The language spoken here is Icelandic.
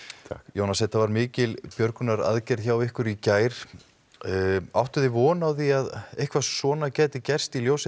Jónas þetta var mikil björgunaraðgerð hjá ykkur í gær áttuð þið von á því að eitthvað svona gæti gerst í ljósi